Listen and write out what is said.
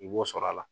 I b'o sɔrɔ a la